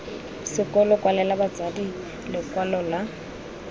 sekolo kwalela batsadi lekwalo la